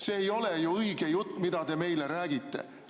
See ei ole ju õige jutt, mida te meile räägite.